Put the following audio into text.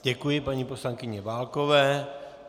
Děkuji paní poslankyni Válkové.